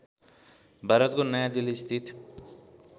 भारतको नयाँ दिल्लीस्थित